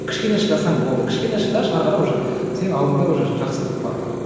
кішкене шыдасаң болды кішкене шыдашы ары қарай уже сенің алдыңда уже жақсылық бар